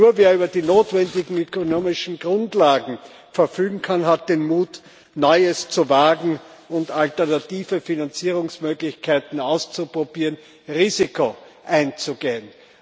Nur wer über die notwendigen ökonomischen Grundlagen verfügen kann, hat den Mut, Neues zu wagen und alternative Finanzierungsmöglichkeiten auszuprobieren, Risiken einzugehen.